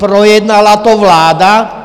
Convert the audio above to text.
Projednala to vláda?